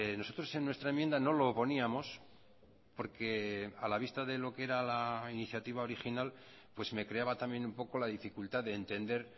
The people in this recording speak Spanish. nosotros en nuestra enmienda no lo poníamos porque a la vista de lo que era la iniciativa original pues me creaba también un poco la dificultad de entender